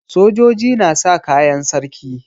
Sojoji na sa kayan sarki.